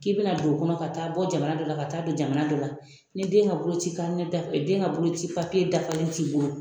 K'i bɛna don o kɔnɔ ka taa bɔ jamana dɔ la ka taa don jamana dɔ la ni den ka boloci den ka boloci papiye dafalen t'i bolo